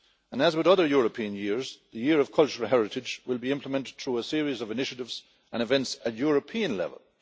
As with other European years, the year of cultural heritage will be implemented through a series of initiatives and events at European level.